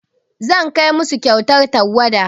Zan kai musu kyautar tawada.